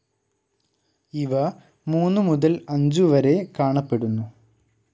ഇവ മൂന്നു മുതൽ അഞ്ചു വരെ കാണപ്പെടുന്നു.